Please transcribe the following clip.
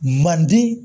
Manden